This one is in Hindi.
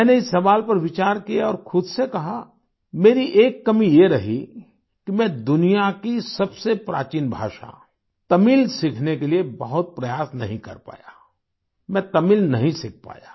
मैंने इस सवाल पर विचार किया और खुद से कहा मेरी एक कमी ये रही कि मैं दुनिया की सबसे प्राचीन भाषा तमिल सीखने के लिए बहुत प्रयास नहीं कर पाया मैं तमिल नहीं सीख पाया